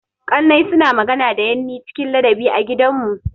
Ƙannai suna magana da yanni cikin ladabi a gidanmu.